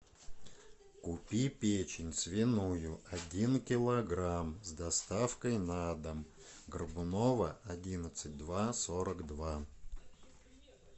купи печень свиную один килограмм с доставкой на дом горбунова одиннадцать два сорок два